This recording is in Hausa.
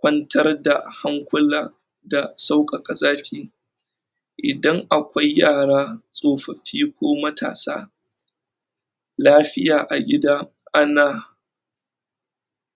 kwantar da hankula da saukaka zafi. Idan akwai yara, tsofofi ko matasa lafiya a gida, ana